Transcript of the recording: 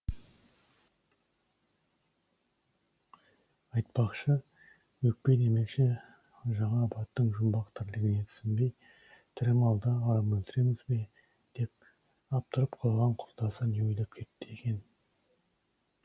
айтпақшы өкпе демекші жаңа абаттың жұмбақ тірлігіне түсінбей тірі малды арам өлтіреміз бе деп абдырап қалған құрдасы не ойлап кетті екен